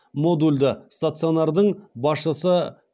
модульді стационардың басшысы